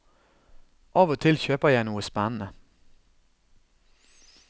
Av og til kjøper jeg noe spennende.